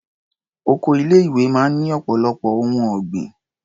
Oko ilé-ìwé máa ń ní ọ̀pọ̀lọpọ̀ ohun ọ̀gbìn.